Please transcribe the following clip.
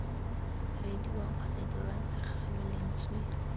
reediwang kgotsa dirwang segalo lentswe